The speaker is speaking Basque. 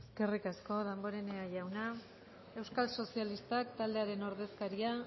eskerrik asko damborenea jauna euskal sozialistak taldearen ordezkaria